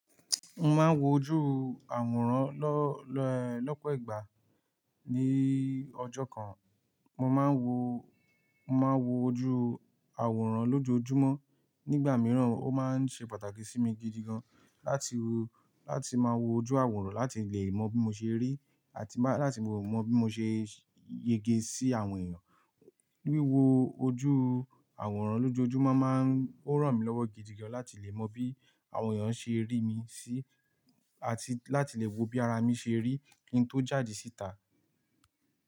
Mo máa ń wo ojú àwòrán lọ́, lọ́, lọ́pọ̀ ìgbà ní ọjọ́ kan. Mo máa ń wo, mo máa ń wo ojú àwòrán lójoojúmọ́. Nígbà mìíràn ó máa ń ṣe pàtàkì sí mi gidi gan-an láti wo, láti máa wo ojú àwòrán láti lè mọ̀ bí mo ṣe rí àti má, láti mọ bí mo ṣe yege sí àwọn èèyàn. Wíwo ojú àwòrán lójoojúmọ́ máa ń, ó ràn mí lọ́wọ́ gidi gan-an láti lè mọ̀ bí àwọn èèyàn ṣe ń rí mi sí, àti láti lè wo bí ara mi ṣe rí kí n tó jáde síta.